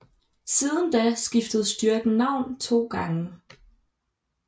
Siden da skiftede styrken navn to gange